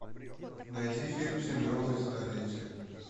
найди фильм синдромы и столетие